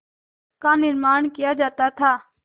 का निर्माण किया जाता था